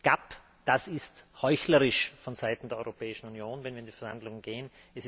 GAP es ist heuchlerisch von Seiten der Europäischen Union, wenn wir in die Verhandlungen gehen.